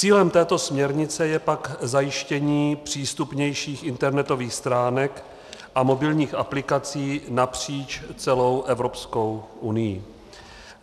Cílem této směrnice je pak zajištění přístupnějších internetových stránek a mobilních aplikací napříč celou Evropskou unií.